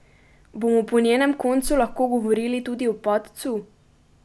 Bomo po njenem koncu lahko govorili tudi o padcu?